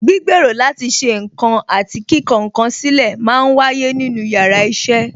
Gbígbèrò láti ṣe ǹkan àti kíkọ ǹ kan sílè máa ń wáyé nínú yàrá iṣẹ́